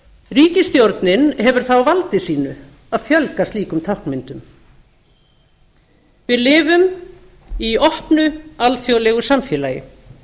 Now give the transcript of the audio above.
ríkisstjórnin hefur það á valdi sínu að fjölga slíkum táknum við lifum í opnu alþjóðlegu samfélagi